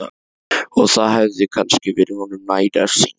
Og það hefði kannski verið honum næg refsing.